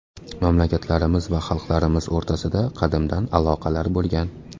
Mamlakatlarimiz va xalqlarimiz o‘rtasida qadimdan aloqalar bo‘lgan.